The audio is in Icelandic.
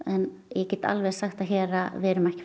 ég get alveg sagt það hér að við erum ekki